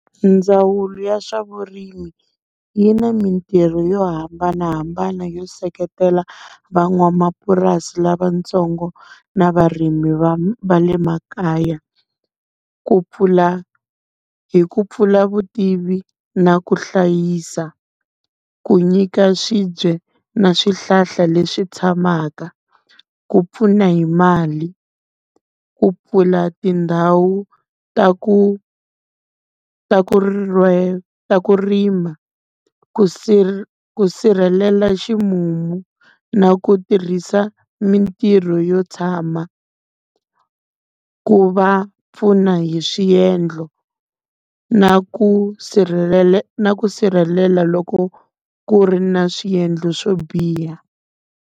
Ndzawulo ya swa vurimi yi na mintirho yo hambanahambana yo seketela van'wamapurasi lavatsongo na varimi va va le makaya. Ku pfula hi ku pfula vutivi na ku hlayisa. Ku nyika swibye na swihlahla leswi tshamaka, ku pfuna hi mali, ku pfula tindhawu ta ku ta ku ta ku rima, ku ku sirhelela ximumu na ku tirhisa mintirho yo tshama. Ku va pfuna hi swiendlo na ku na ku sirhelela loko ku ri na swiendlo swo biha.